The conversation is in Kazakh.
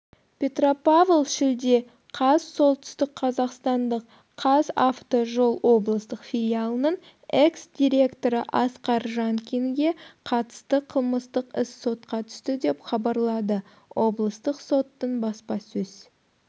петропав шілде каз солтүстік қазақстандық қазавтожол облыстық филиалының экс-директоры асқар жанкинге қатысты қылмыстық іс сотқа түсті деп хабарлады облыстық соттың баспасөз